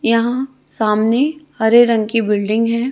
यहां सामने हरे रंग की बिल्डिंग है।